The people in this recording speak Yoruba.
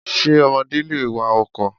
Ṣé ọmọdé lè wa ọkọ̀?